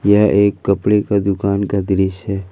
यह एक कपड़े का दुकान का दृश्य है।